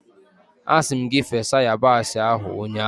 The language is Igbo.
Asi m gi fesa yabasị ahu ụnyahụ!